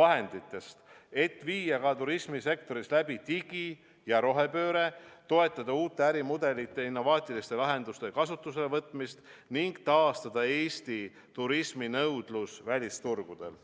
vahenditest, et viia ka turismisektoris läbi digi- ja rohepööre, toetada uute ärimudelite innovaatiliste lahenduste kasutusele võtmist ning taastada Eesti turismi nõudlus välisturgudel.